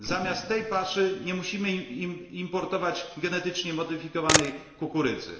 Dzięki tej paszy nie musimy importować genetycznie modyfikowanej kukurydzy.